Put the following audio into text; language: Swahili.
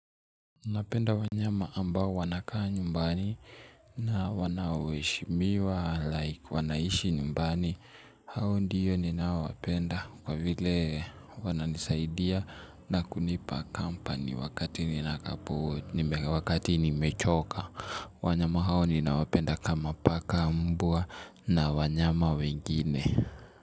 Napenda wanyama ambao wanakaa nyumbani na wanaoeshimiwa like wanaishi nyumbani hao ndiyo ninawapenda kwa vile wananisaidia na kunipa kampani wakati wakati nimechoka wanyama hao ninawapenda kama paka mbwa na wanyama wengine.